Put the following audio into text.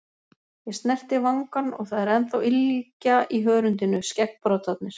Ég snerti vangann og það er ennþá ylgja í hörundinu, skeggbroddarnir.